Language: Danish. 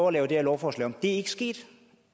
at lave det her lovforslag om det er ikke sket